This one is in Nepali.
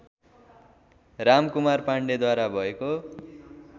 रामकुमार पाण्डेद्वारा भएको